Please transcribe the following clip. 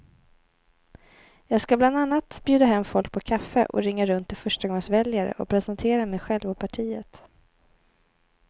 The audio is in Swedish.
Jag ska bland annat bjuda hem folk på kaffe och ringa runt till förstagångsväljare och presentera mig själv och partiet.